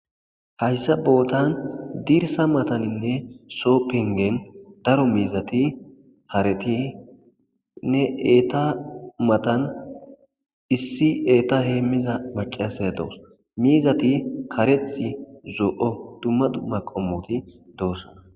Hayssa bootan dirsa mataninne soo pengen daro miizati haretinne eeta matan issi eeta heemmiza maciase doos miizati kareth zoo7o dummadu maqomoti doossa